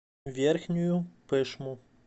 верхнюю пышму